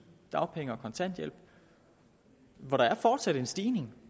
dagpenge og kontanthjælp for der er fortsat en stigning